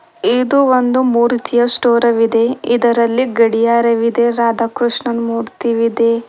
ಇದು ಒಂದು ಮೂರುತಿಯ ಸ್ಟೋರವಿದೆ ಇದರಲ್ಲಿ ಗಡಿಯಾರವಿದೆ ರಾಧಾಕೃಷ್ಣನ್ ಮೂರ್ತಿ ಇದೆ.